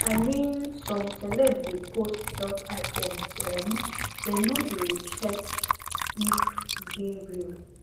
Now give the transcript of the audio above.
i mean some celeb de post health items um dem no de check if e de real